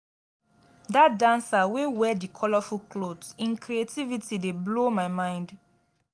dat dancer wey wear di colourful cloth im creativity dey blow my mind.